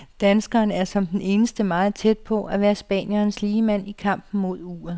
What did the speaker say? Danskeren er som den eneste meget tæt på at være spanierens ligemand i kampen mod uret.